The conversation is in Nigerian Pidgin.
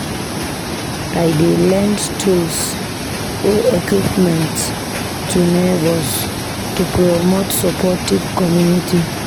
I dey lend tools or equipment to neighbors to promote supportive community.